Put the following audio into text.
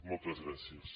moltes gràcies